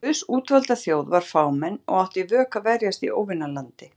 Guðs útvalda þjóð var fámenn og átti í vök að verjast í óvinalandi.